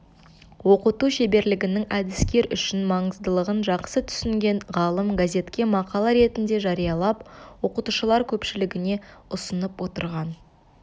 оқыту шеберлігінің әдіскер үшін маңыздылығын жақсы түсінген ғалым газетке мақала ретінде жариялап оқытушылар көпшілігіне ұсынып отырған